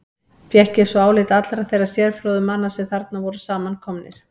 Fékk ég svo álit allra þeirra sérfróðu manna, sem þarna voru samankomnir.